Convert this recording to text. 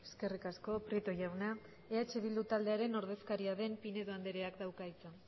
eskerrik asko prieto jauna eh bildu taldearen ordezkaria den pinedo andreak dauka hitza